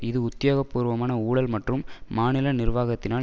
இது உத்தியோகபூர்வமான ஊழல் மற்றும் மாநில நிர்வாகத்தினால்